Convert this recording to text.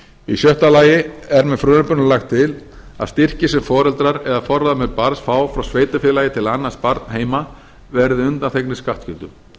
í sjötta lagi er með frumvarpinu lagt til að styrkir sem foreldrar eða forráðamenn barns fá frá sveitarfélagi til að annast barn heima verði undanþegnir skattskyldu